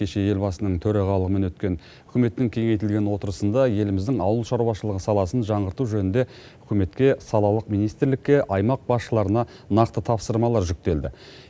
кеше елбасының төрағалығымен өткен үкіметтің кеңейтілген отырысында еліміздің ауыл шаруашылығы саласын жаңғырту жөнінде үкіметке салалық министрлікке аймақ басшыларына нақты тапсырмалар жүктелді